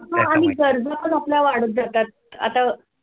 हा आणि गरजा पण आपल्या वाढत जातात आता